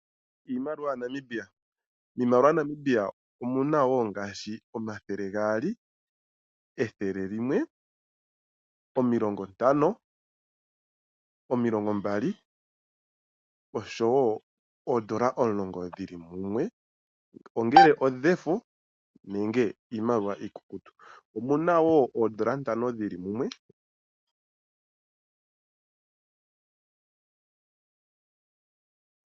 Iimaliwa yaNamibia, iimaliwa yaNamibia omuna omathele gaali, ethele limwe, omilongo ntano, omilongo mbali oshowoo oondola omulongo dhili mumwe ongele odhefo nongele iimaliwa iikukutu omunawo oondola ntano dhili mumwe.